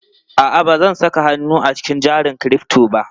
A'a, ba zan saka hannun jari a cikin crypto ba.